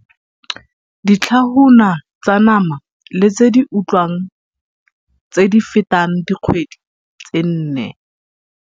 Ditlhahuna tsa nama le tse di otliwang tse di fetang dikgwedi tse nne